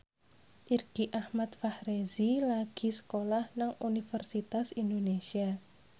Irgi Ahmad Fahrezi lagi sekolah nang Universitas Indonesia